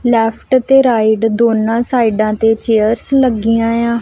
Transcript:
Left ਅਤੇ right ਦੋਨਾਂ ਸਾਇਡਾਂ ਤੇ ਚੈਅਰਸ ਲਗਿਆ ਆਂ।